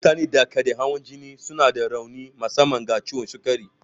Mutanen da ke da hawan jini suna da rauni musamman ga ciwon sukari.